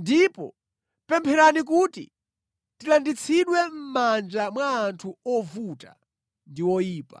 Ndipo pempherani kuti tilanditsidwe mʼmanja mwa anthu ovuta ndi oyipa,